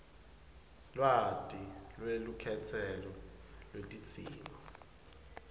lwati lwelukhetselo lwetidzingo